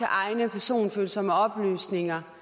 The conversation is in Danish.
egne personfølsomme oplysninger